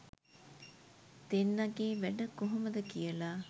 දෙන්නගෙ වැඩ කොහොමද කියල.